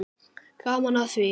Gaman af því.